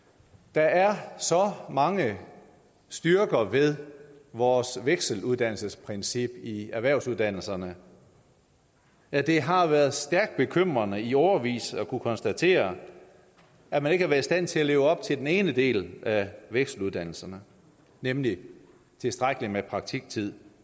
der er så mange styrker ved vores vekseluddannelsesprincip i erhvervsuddannelserne at det har været stærkt bekymrende i årevis at kunne konstatere at man ikke har været i stand til at leve op til den ene del af vekseluddannelserne nemlig tilstrækkeligt med praktiktid